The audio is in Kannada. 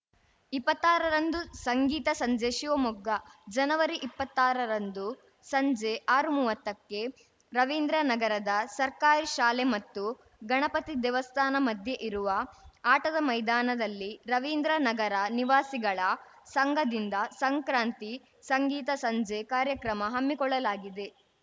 ಇಪ್ಪತ್ತಾರರಂದು ಸಂಗೀತ ಸಂಜೆ ಶಿವಮೊಗ್ಗ ಜನವರಿ ಇಪ್ಪತ್ತಾರರಂದು ಸಂಜೆ ಆರುಮುವತ್ತಕ್ಕೆ ರವೀಂದ್ರನಗರದ ಸರ್ಕಾರಿ ಶಾಲೆ ಮತ್ತು ಗಣಪತಿ ದೇವಸ್ಥಾನ ಮಧ್ಯೆ ಇರುವ ಆಟದ ಮೈದಾನದಲ್ಲಿ ರವೀಂದ್ರನಗರ ನಿವಾಸಿಗಳ ಸಂಘದಿಂದ ಸಂಕ್ರಾಂತಿ ಸಂಗೀತ ಸಂಜೆ ಕಾರ್ಯಕ್ರಮ ಹಮ್ಮಿಕೊಳ್ಳಲಾಗಿದೆ